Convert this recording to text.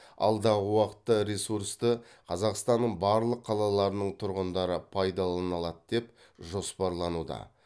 алдағы уақытта ресурсты қазақстанның барлық қалаларының тұрғындары пайдалана алады деп жоспарлануда